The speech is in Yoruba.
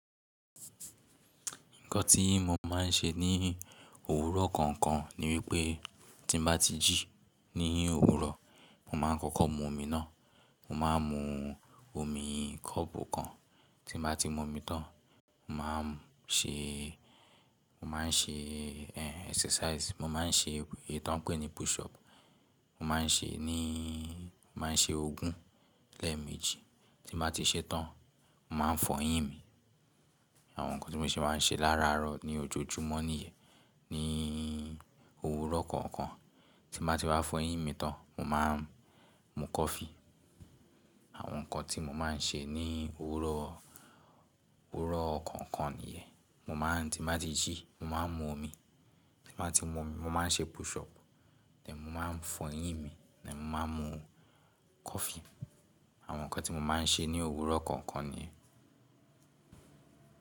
Nǹkan tí mo máa ń ṣe ní òwúrọ̀ kọ̀ọ̀kan ni wípé tí mo bá ti jí ní òwúrọ̀, mo máa ń kọ́kọ́ mu omi náà. Mo máa ń mu omi kọ́ọ̀pù kan. Tí mo bá ti mu omi tán, mo máa ń ṣe, mo máa ń ṣe exercise. Mo máa ń ṣe èyí tó ń pè ní push up. Mo má a ń ṣe ní, mo máa ń ṣe ogún lẹ́ẹ̀mejì. Tí mo bá ti ṣe tán, mo máa ń fọyín mi. Àwọn nǹkan tí mo se máa ń ṣe láraaro ní ojoojúmọ́ nìyẹn, ní òwúrọ̀ kọ̀ọ̀kan. Tí mo bá ti wa fọyín mi tán, mo máa ń mu coffee. Àwọn nǹkan tí mo máa ń ṣe ní òwúrọ̀, òwúrọ̀ kọ̀ọ̀kan nìyẹn. Mo máa ń tí mo bá ti jí, mo máa ń mu omi. Tí mo bá ti mu omi, mo máa ń ṣe push up. Then mo máa ń fọyín mi, then mo máa ń mu coffee. Àwọn nǹkan tí mo máa ń ṣe ní òwúrọ̀ kọ̀ọ̀kan nìyẹn.